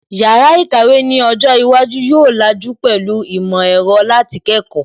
Yàrá ìkàwé ni ọjọ́ iwájú yóò làjú pẹ̀lú ìmọ̀ ẹ̀rọ láti kẹ́kọ̀ọ́